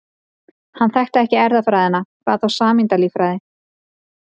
Hann þekkti ekki erfðafræði, hvað þá sameindalíffræði.